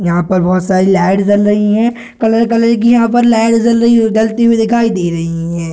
यहाँ पर भोत सारी लाइट जल रही हैं कलर कलर की यहां पर लाइट जल रही है जलती हुई दिखाई दे रही हैं।